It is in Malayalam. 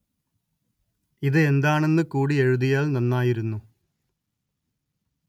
ഇത് എന്താണെന്ന് കൂടി എഴുതിയാല്‍ നന്നായിരുന്നു